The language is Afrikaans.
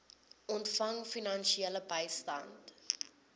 ontvang finansiële bystand